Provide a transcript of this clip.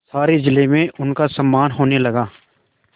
सारे जिले में उनका सम्मान होने लगा